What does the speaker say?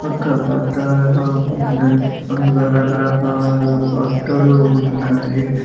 ఇక్కడ బట్టలు అన్నీ ఉన్నవి అందులో రకరకాల బట్టలు ఉన్నాయి.